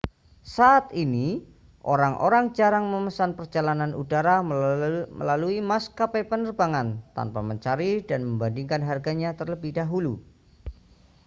saat ini orang-orang jarang memesan perjalanan udara melalui maskapai penerbangan tanpa mencari dan membandingkan harganya terlebih dahulu